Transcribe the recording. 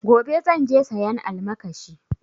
Gobe zan je sayan almakashi